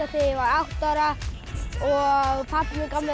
þegar ég var átta ára og pabbi gaf mér